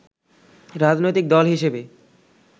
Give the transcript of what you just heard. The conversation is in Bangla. রাজনৈতিক দল হিসেবে